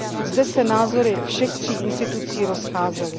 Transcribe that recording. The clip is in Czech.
Zde se názory všech tří institucí rozcházely.